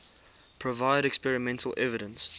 provide experimental evidence